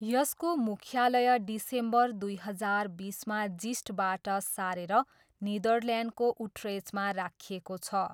यसको मुख्यालय डिसेम्बर दुई हजार बिसमा जिस्टबाट सारेर नेदरल्यान्डको उट्रेचमा राखिएको छ।